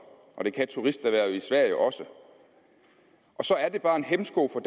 og det kan turisterhvervet i sverige også og så er det bare en hæmsko for